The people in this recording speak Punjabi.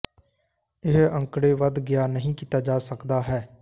ਇਹ ਅੰਕੜੇ ਵੱਧ ਗਿਆ ਨਹੀ ਕੀਤਾ ਜਾ ਸਕਦਾ ਹੈ